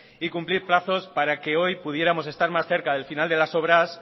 y cumplir plazos para que hoy pudiéramos estar más cerca del final de las obras